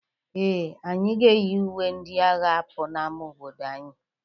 Ee, anyị ga-eyi uwe ndị a agha apụ n'ama obodo anyị.